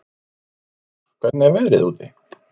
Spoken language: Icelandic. Hjallkár, hvernig er veðrið úti?